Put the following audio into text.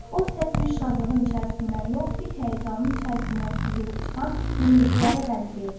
O səs bir şadlığın içərisindən yox, bir həyəcanın içərisindən süzülüb çıxan iniltilərə bənzəyirdi.